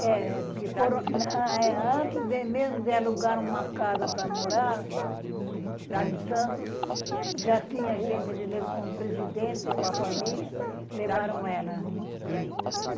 É é, porque foram, eh, eh, antes mesmo de alugar uma casa para morar lá em Santos, já tinha gente com o presidente, com a família, levaram ela.